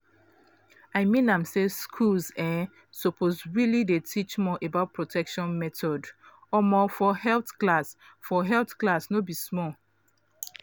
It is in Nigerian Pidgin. i mean am say schools um suppose really dey teach more about protection methods um for health class for health class no be small